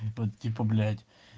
типа блять